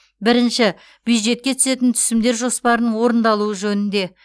бірінші бюджетке түсетін түсімдер жоспарының орындалуы жөнінде